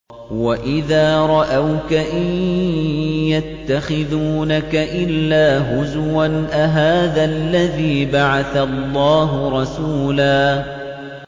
وَإِذَا رَأَوْكَ إِن يَتَّخِذُونَكَ إِلَّا هُزُوًا أَهَٰذَا الَّذِي بَعَثَ اللَّهُ رَسُولًا